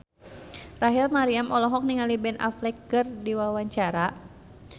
Rachel Maryam olohok ningali Ben Affleck keur diwawancara